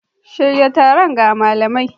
Shirya taro ga malamai.